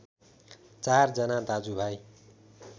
चार जना दाजुभाइ